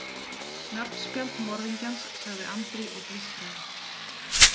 Nafnspjald morðingjans, sagði Andri og blístraði.